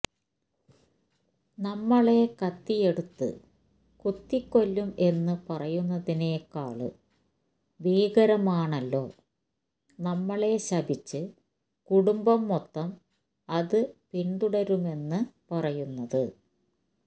നമ്മളെ കത്തിയെടുത്ത് കുത്തിക്കൊല്ലും എന്ന് പറയുന്നതിനേക്കാള് ഭീകരമാണല്ലോ നമ്മളെ ശപിച്ച് കുടുംബം മൊത്തം അത് പിന്തുടരുമെന്ന് പറയുന്നത്